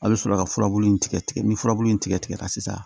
A' bɛ sɔrɔ ka furabulu in tigɛ tigɛ ni furabulu in tigɛ tigɛra sisan